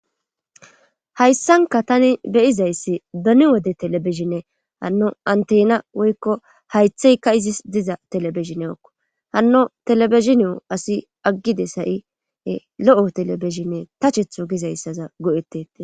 Hayssanka tani beyizayssi bani wode telebeshinne hanno antena woykko haytheyka izis diza telebeshineokko hanno telebezshinio asi aggide sayie lo7o telebishinne tachethu gizayssaza go'etete.